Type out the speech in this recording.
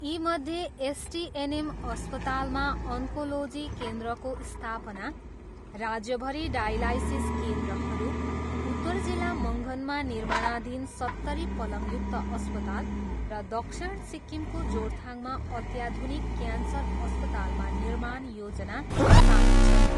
यीमध्ये एसटिएनएम अस्पतालमा अन्कोलोजी केन्द्रको स्थापना, राज्यभरि डायलाइसिस केन्द्रहरू, उत्रर जिल्ला मङ्गनमा निर्माणाधीन सत्तरी पलङयुक्त अस्पताल र दक्षिण सिक्किमको जोरथाङमा अत्याधुनिक क्यान्सर अस्पतालमा निर्माण योजना सामेल छन्।